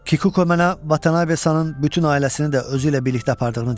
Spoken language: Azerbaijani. Kikuko mənə Vatanavesanın bütün ailəsini də özü ilə birlikdə apardığını dedi.